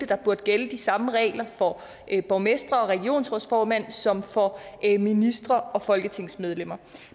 der burde gælde de samme regler for borgmestre og regionsrådsformænd som for ministre og folketingsmedlemmer